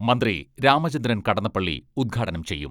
മന്ത്രി രാമചന്ദ്രൻ കടന്നപ്പള്ളി ഉദ്ഘാടനം ചെയ്യും.